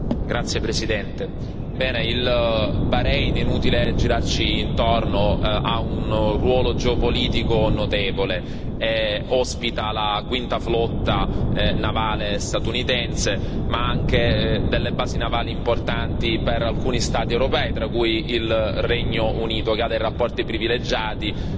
Signora Presidente, onorevoli colleghi, il Bahrein, inutile girarci intorno, ha un ruolo geopolitico notevole ospita la Quinta Flotta navale statunitense ma anche delle basi navali importanti per alcuni Stati europei, tra cui il Regno Unito, che ha dei rapporti privilegiati